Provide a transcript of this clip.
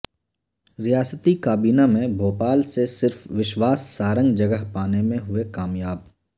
ریاستی کابینہ میں بھوپال سے صرف وشواس سارنگ جگہ پانے میں ہوئے کامیاب